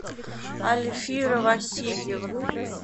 альфира васильевна